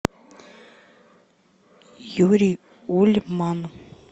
юрий ульман